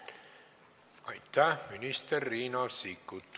Aitäh, minister Riina Sikkut!